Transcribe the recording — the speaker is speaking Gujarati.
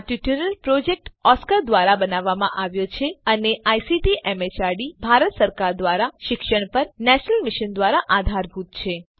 આ ટ્યુટોરીયલ પ્રોજેક્ટ ઓસ્કાર ધ્વારા બનાવવામાં આવ્યો છે અને આઇસીટી એમએચઆરડી ભારત સરકાર દ્વારા શિક્ષણ પર નેશનલ મિશન દ્વારા આધારભૂત છે